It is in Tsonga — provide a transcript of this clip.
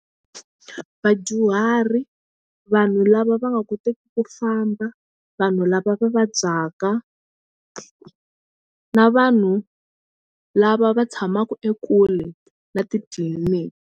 Vadyuhari vanhu lava va nga koteki ku famba vanhu lava va vabyaka na vanhu lava va tshamaku ekule na titliliniki.